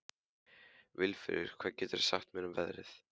Vilfríður, hvað geturðu sagt mér um veðrið?